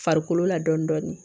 Farikolo la dɔɔnin dɔɔnin